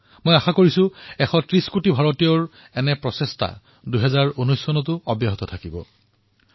মই আশা কৰিছোঁ যে ২০১৯ চনতো ভাৰতৰ উন্নতি তথা প্ৰগতিৰ এই যাত্ৰা এইদৰেই অব্যাহত থাকিব আৰু আমাৰ দেশে সৱলীকৰণৰ নতুন উচ্চতা স্পৰ্শ কৰিব